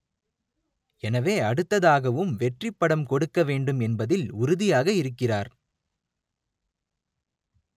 எனவே அடுத்ததாகவும் வெற்றி படம் கொடுக்க வேண்டும் என்பதில் உறுதியாக இருக்கிறார்